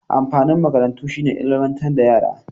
Amfanin makarantu shi ne ilmantar da yara.